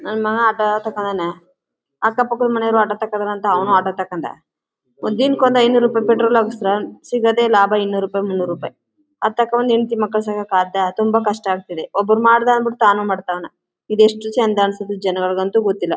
ನನ್ ಮಗಾ ಆಟೋ ತಕೊಂಡವ್ನೆ ಅಕ್ಕಪಕ್ಕದ ಮನೆಯವರು ಆಟೋ ತಕೊಂಡಾರೆ ಅಂತ ಅವನೂ ಆಟೋ ತಗೊಂಡ ಒಂದಿನಕ್ಕೊಂದು ಐನೂರು ರೂಪಾಯಿ ಪೆಟ್ರೋಲ್ ಹಾಕಿಸಿಡ್ರಾ ಸಿಗೋದೇ ಲಾಭ ಇನ್ನೂರ್ ಮುನ್ನೂರು ರೂಪಾಯಿ ಅದ್ ತಕೋಬಂದು ಹೆಂಡ್ತಿ ಮಕ್ಕಳಿಗೆ ಸಾಕಕ್ಕೆ ಆಗ್ತಾ ತುಂಬಾ ಕಷ್ಟ ಆಗ್ತಿದೆ ಒಬ್ರು ಮಾಡ್ದ ಅಂತ ತಾನು ಮಾಡವ್ನೆ ಇದೆಷ್ಟು ಚಂದ ಅಂತ ಜನಗಳಿಗಂತೂ ಗೊತ್ತಿಲ್ಲ.